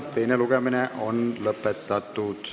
Teine lugemine on lõpetatud.